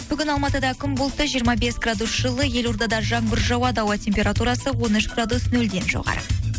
бүгін алматыда күн бұлтты жиырма бес градус жылы елордада жаңбыр жауады ауа температурасы он үш градус нөлден жоғары